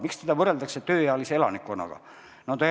Miks seda võrreldakse tööealise elanikkonnaga?